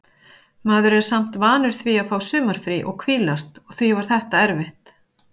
Maður er samt vanur því að fá sumarfrí og hvílast og því var þetta erfitt.